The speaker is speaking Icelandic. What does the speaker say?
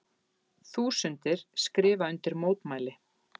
Þúsundir skrifa undir mótmæli